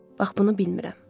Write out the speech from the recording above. Bax bunu bilmirəm.